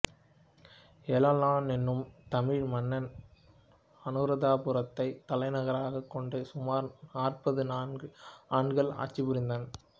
எல்லாளன் எனும் தமிழ் மன்னன் அநுராதபுரத்தை தலைநகராகக் கொண்டு சுமார் நாற்பத்து நான்கு ஆண்டுகள் ஆட்சி புரிந்தான்